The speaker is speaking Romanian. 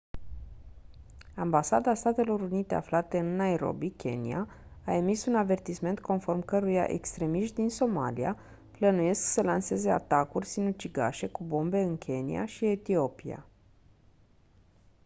ambasada statelor unite aflată în nairobi kenya a emis un avertisment conform căruia «extremiști din somalia» plănuiesc să lanseze atacuri sinucigașe cu bombe în kenya și etiopia.